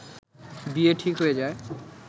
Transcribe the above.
বিয়ে ঠিক হয়ে যায়